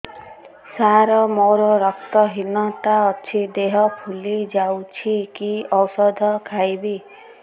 ସାର ମୋର ରକ୍ତ ହିନତା ଅଛି ଦେହ ଫୁଲି ଯାଉଛି କି ଓଷଦ ଖାଇବି